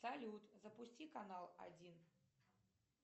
салют запусти канал один